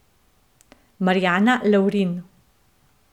Marjana Lavrin.